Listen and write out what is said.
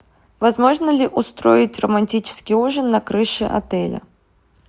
возможно ли устроить романтический ужин на крыше отеля